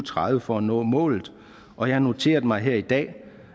tredive for at nå målet og jeg har noteret mig her i dag